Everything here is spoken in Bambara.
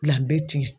La n bɛ tiɲɛ